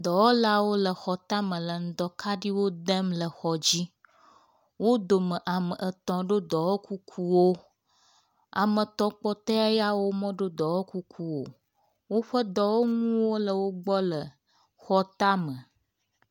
Dɔwɔlawo le xɔtame le ŋdɔ kaɖiwo dem le exɔ dzi. Wo dome ame etɔ̃ do dɔwɔkukuwo. Ame etɔ̃ kpɔtɔe yawo medo dɔwɔkukuwo o. Woƒe dɔwɔnuwo le wo gbɔ le xɔ tame.